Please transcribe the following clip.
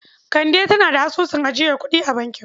Kande tana da asusun ajiyar kuɗi a bankin.